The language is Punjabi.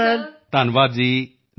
ਧੰਨਵਾਦ ਜੀ ਨਮਸਕਾਰ